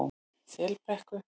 Selbrekku